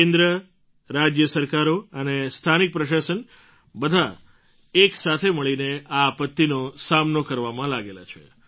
કેન્દ્ર રાજ્ય સરકારો અને સ્થાનિક પ્રશાસન બધાં એક સાથે મળીને આ આપત્તિનો સામનો કરવામાં લાગેલા છે